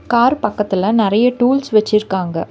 Car பக்கத்துல நெறைய tools வெச்சிருக்காங்க.